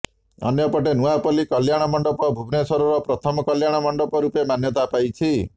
ଅନ୍ୟପଟେ ନୂଆପଲ୍ଲୀ କଲ୍ୟାଣ ମଣ୍ଡପ ଭୁବନେଶ୍ୱରର ପ୍ରଥମ କଲ୍ୟାଣ ମଣ୍ଡପ ରୂପେ ମାନ୍ୟତା ପାଇଛି